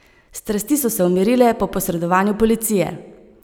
Strasti so se umirile po posredovanju policije.